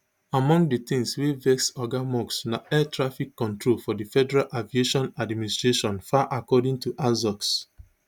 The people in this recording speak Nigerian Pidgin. among di tins wia vex oga musk na air traffic control for di federal aviation administration faa according to axios